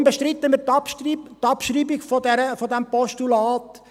Weshalb bestreiten wir die Abschreibung dieses Postulats?